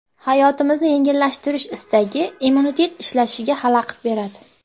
Hayotimizni yengillashtirish istagi immunitet ishlashiga xalaqit beradi.